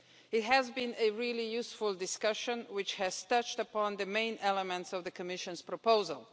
It has been a really useful discussion and has touched upon the main elements of the Commission's proposal.